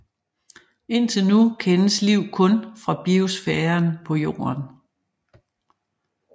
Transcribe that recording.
Indtil nu kendes liv kun fra biosfæren på Jorden